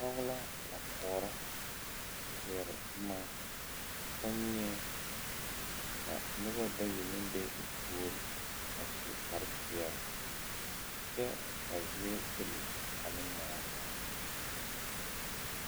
Pɔge la a koɔrɔ zeɛre boma kommie ka nobɔ bayi meŋ be o puor a su kparepeɛle kyɛ a zie pilli ane moɔ.